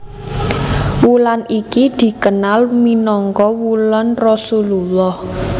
Wulan iki dikenal minangka wulan Rasulullah